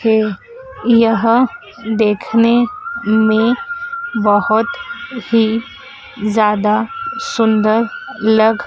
है यहां देखने में बहुत ही ज्यादा सुंदर लग।